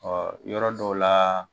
yɔrɔ dɔw la